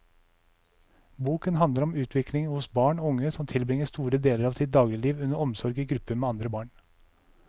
Boken handler om utvikling hos barn og unge som tilbringer store deler av sitt dagligliv under omsorg i gruppe med andre barn.